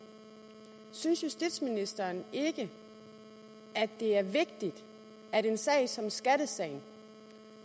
synes justitsministeren ikke at det er vigtigt at en sag som skattesagen